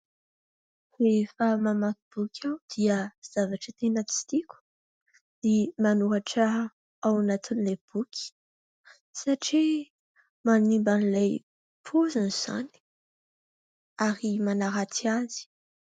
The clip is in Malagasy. Rehefa mamaky boky aho dia zavatra tena tsy tiako ny manoratra ao anatin'ilay boky satria manimba an'ilay paoziny izany ary manaratsy azy.